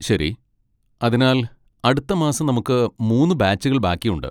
ശരി. അതിനാൽ അടുത്ത മാസം നമുക്ക് മൂന്ന് ബാച്ചുകൾ ബാക്കിയുണ്ട്.